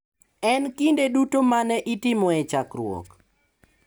E kinde duto ma ne itimoe chakruok,